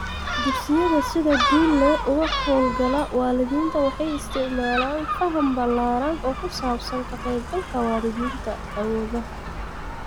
Dugsiyada sida guul leh uga hawl gala waalidiinta waxay isticmaalaan faham ballaadhan oo ku saabsan ka qaybgalka waalidiinta (awoodaha)